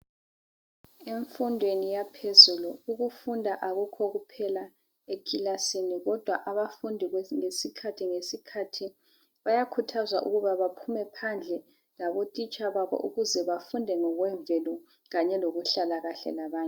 Emfundweni yaphezulu ukufunda akukho kuphela ekilasini kodwa abafundi ngesikhathi ngesikhathi bayakhuthazwa ukuba baphume phandle labo titsha babo ukuze bafunde ngo kwemvelo kanye loku hlala kuhle labanye.